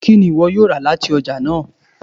Kini iwọ yoo ra lati ọja naa?